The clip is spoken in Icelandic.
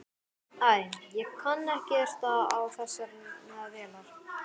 Æ, ég kann ekkert á þessar vélar.